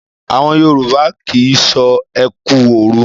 Àwọn Yorùbá kì í sọ ẹ kú òru.